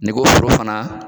N'i ko foro fana.